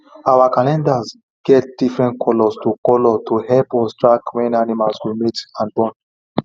our calendar get different colour to colour to help us track when animals go mate and born